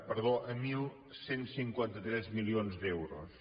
perdó a onze cinquanta tres milions d’euros